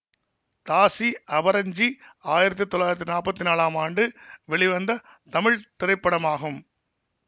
தாசி அபரஞ்சி ஆயிரத்தி தொள்ளாயிரத்தி நாற்பத்தி நாலாம் ஆண்டு வெளிவந்த தமிழ் திரைப்படமாகும்